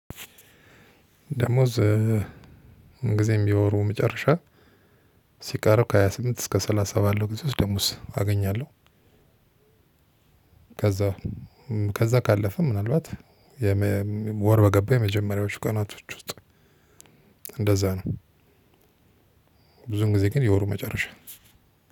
ደሞዝ ጊዜም በወሩ መጨረሻ ሲቀርብ ከሃያ ስምንት እስከ ሰላሳ ባለው ጊዜ ውስጥ ደሞዝ አገኛለሁ። ከዛ ከዛ ካለፈም ምናልባት ወር በገባ የመጀመሪያዎቹ ቀናቶች ውስጥ እንደዛ ነው። ብዙ ጊዜ ግን የወሩ መጨረሻ